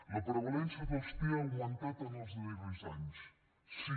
la prevalença dels tea ha augmentat en els darrers anys sí